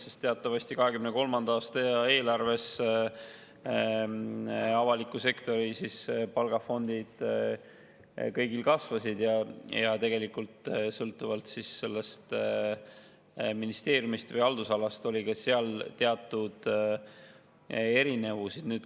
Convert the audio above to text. Teatavasti 2023. aasta eelarves avalikus sektoris palgafond kõigil kasvas, aga tegelikult sõltuvalt ministeeriumist või haldusalast oli seal teatud erinevusi.